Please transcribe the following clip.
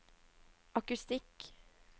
akustikk